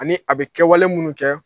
Ani a bɛ kɛwale minnu kɛ.